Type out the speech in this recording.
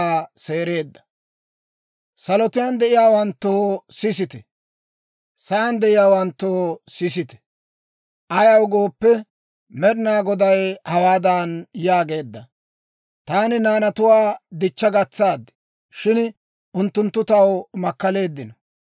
Salotuwaan de'iyaawanttoo, sisite; sa'aan de'iyaawanttoo, sisite; ayaw gooppe, Med'inaa Goday hawaadan yaageedda; «Taani naanatuwaa dichcha gatsaad; shin unttunttu taw makkaleeddino.